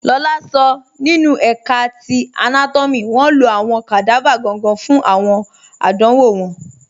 Lọlá sọ nínu ẹ̀ká ti anátọ́mì wọn ló awọn kadava gangan fun awọn àdánwọ̀ wọn